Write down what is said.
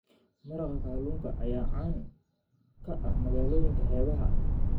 Maraqa kalluunka ayaa caan ka ah magaalooyinka xeebaha ah.